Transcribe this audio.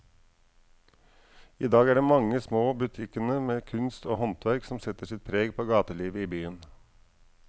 I dag er det de mange små butikkene med kunst og håndverk som setter sitt preg på gatelivet i byen.